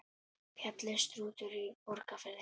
Fjallið Strútur í Borgarfirði.